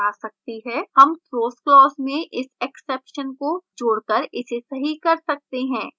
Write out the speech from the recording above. हम throws clause में इस exception को जोड़ कर इसे सही कर सकते हैं